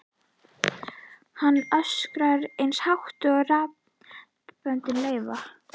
Hann öskrar eins hátt og raddböndin leyfa.